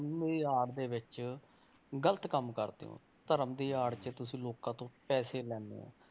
ਧਰਮ ਦੀ ਆੜ ਦੇ ਵਿੱਚ ਗ਼ਲਤ ਕੰਮ ਕਰਦੇ ਹੋ, ਧਰਮ ਦੀ ਆੜ 'ਚ ਤੁਸੀਂ ਲੋਕਾਂ ਤੋਂ ਪੈਸੇ ਲੈਂਦੇ ਹੋ।